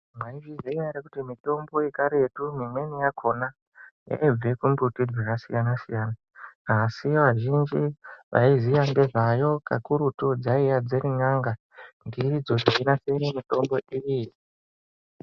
Mwaizviziya ere kuti mitombo yekaretu imweni yakona inobve kumbuti dzakasiyana siyana asi vazhinji vaiziya ngezvayo kakurutu dzaiya dziri n'anga ngeidzo dzeirapire mitombo iyi.